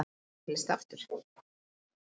Orðið hús hefur fleiri en eina merkingu.